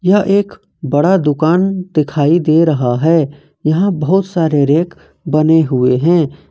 यह एक बड़ा दुकान दिखाई दे रहा है यहां बहुत सारे रैक बने हुए हैं।